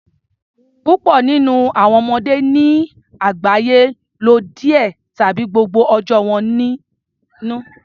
Púpọ nínú àwọn ọmọdé ní àgbáyé n lo díẹ tàbí gbogbo ọjọ́ wọn nínú